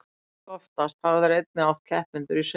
langoftast hafa þeir einnig átt keppendur í sundi